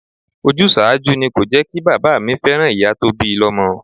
Ojúsàájú ni kò jẹkí bàbá mi fẹ́ràn ìyá tó bi lọmọ.